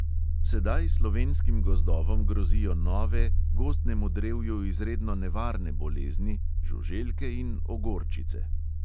Sedaj slovenskim gozdovom grozijo nove gozdnemu drevju izredno nevarne bolezni, žuželke in ogorčice.